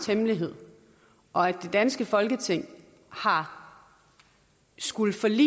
hemmelighed og at det danske folketing har skullet forlade